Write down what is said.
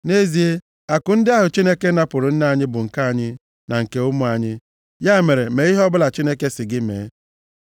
Nʼezie, akụ ndị ahụ Chineke napụrụ nna anyị bụ nke anyị na nke ụmụ anyị. Ya mere, mee ihe ọbụla Chineke sị gị mee.”